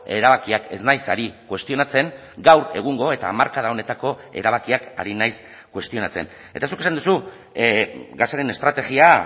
erabakiak ez naiz ari kuestionatzen gaur egungo eta hamarkada honetako erabakiak ari nahiz kuestionatzen eta zuk esan duzu gasaren estrategia